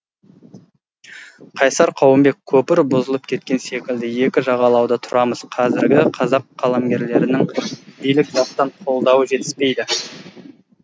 қайсар қауымбек көпір бұзылып кеткен секілді екі жағалауда тұрамыз қазіргі қазақ қаламгерлерінің билік жақтан қолдау жетіспейді